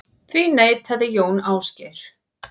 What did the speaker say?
Því neitaði Jón Ásgeir.